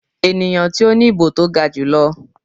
eniyan ti o ni ibo to ga julọ.